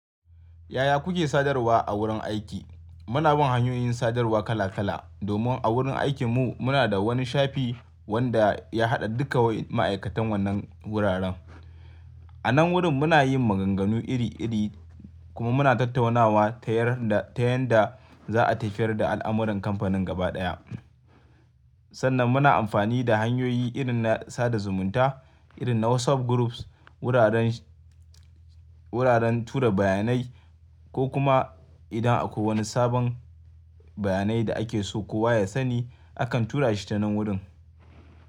Yaya kuke sadarwa a wurin aiki? Muna bin hanyoyin sadarwa kala kala domin a wurin aikinmu muna da wani shafi wanda ya haɗa dukka wain ma'aikatan wannan guraren. Anan wurin muna yin maganganu iri iri kuma muna tattaunawa ta yarda- ta yanda za a tafiyar da al'amuran kamfanin gaba ɗaya. Sannan muna amfani da hanyoyi irin na sada zumunta irin na WhatsApp groups, wuraren, wuraren tura bayanai ko kuma idan akwai wani sabon bayanai da ake so kowa ya sani akan tura shi tanan wurin.